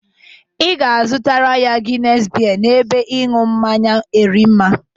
Ị ga-aga azụtara ya Gines bie n'ebe ịṅụ mmanya Erimma.